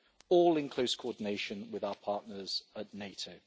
all in close coordination with our partners at NATO.